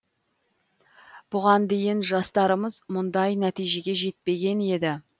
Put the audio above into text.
бұған дейін жастарымыз мұндай нәтижеге жетпеген еді